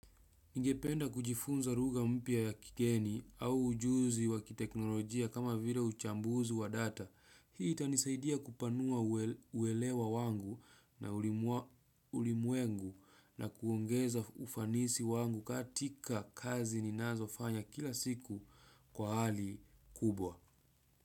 Ningependa kujifunza lugha mpya ya kigeni au ujuzi wa kiteknolojia kama vile uchambuzi wa data. Hii itanisaidia kupanua uelewa wangu na ulimwa ulimwengu na kuongeza ufanisi wangu katika kazi ninazofanya kila siku kwa hali kubwa.